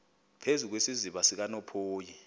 phezu kwesiziba sikanophoyi